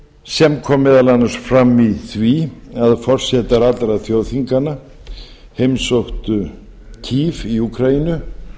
sem kom meðal annars fram í því að forsetar allra þjóðþinganna heimsóttu háttvirtur í úkraínu